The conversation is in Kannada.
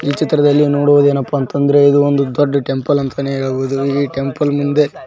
ಚಿತ್ರದಲ್ಲಿ ನೋಡುವುದೇನಪ್ಪ ಅಂತಂದ್ರೆ ಇದು ಒಂದು ದೊಡ್ಡ ಟೆಂಪಲ್ ಅಂತಾನೆ ಹೇಳ್ಬಹುದು ಈ ಟೆಂಪಲ್ ಮುಂದೆ--